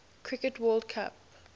cricket world cup